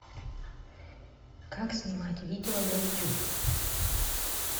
как снимать видео на ютуб